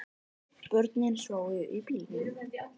Börnin sváfu í bílnum